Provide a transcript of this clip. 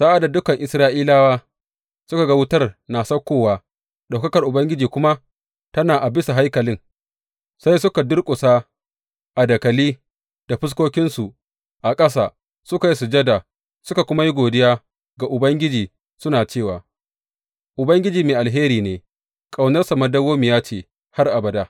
Sa’ad da dukan Isra’ilawa suka ga wutar na saukowa, ɗaukakar Ubangiji kuma tana a bisa haikalin, sai suka durƙusa a dakali da fuskokinsu a ƙasa, suka yi sujada suka kuma yi godiya ga Ubangiji suna cewa, Ubangiji mai alheri ne, ƙaunarsa dawwammamiya ce har abada.